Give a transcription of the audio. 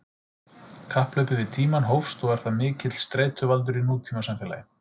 Kapphlaupið við tímann hófst og er það mikill streituvaldur í nútímasamfélagi.